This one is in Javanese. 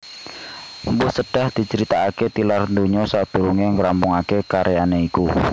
Mpu Sedah dicritakaké tilar donya sadurungé ngrampungaké karyané iku